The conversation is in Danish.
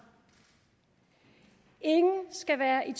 ingen skal være i